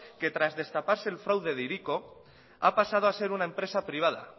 que tras destaparse el fraude de hiriko ha pasado a ser una empresa privada